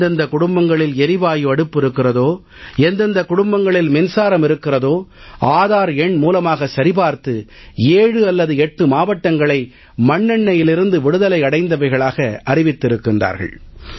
எந்தெந்த குடும்பங்களில் எரிவாயு அடுப்பு இருக்கிறதோ எந்தெந்த குடும்பங்களில் மின்சாரம் இருக்கிறதோ ஆதார் எண் மூலமாக சரிபார்த்து 7 அல்லது 8 மாவட்டங்களை மண்ணெண்ணையிலிருந்து விடுதலை அடைந்தவைகளாக அறிவித்திருக்கிறார்கள்